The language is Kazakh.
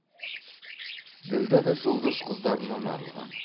ділдә да жолдас қыздарынан арылған